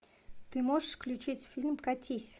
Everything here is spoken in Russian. ты можешь включить фильм катись